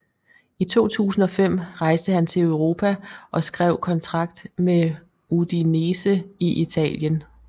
I 2005 rejste han til Europa og skrev kontrakt med Udinese i Italien